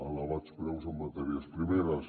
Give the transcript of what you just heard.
elevats preus en matèries primeres